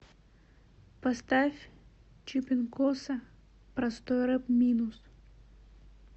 поставь чипинкоса простой рэп минус